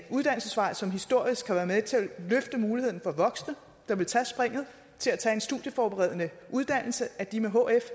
uddannelsesvej som historisk har været med til at løfte muligheden for voksne der ville tage springet til at tage en studieforberedende uddannelse at de med hf